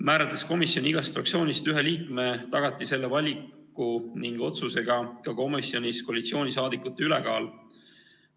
Määrates komisjoni igast fraktsioonist ühe liikme, tagati selle valiku ja otsusega ka komisjonis koalitsiooniliikmete ülekaal.